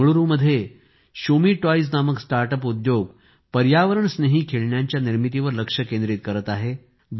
बेंगळूरूमध्ये Shumee toys नामक start up उद्योग पर्यावरणस्नेही खेळण्यांच्या निर्मितीवर लक्ष केंद्रित करत आहे